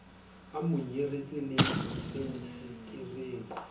a mo nyaretse le fensetereng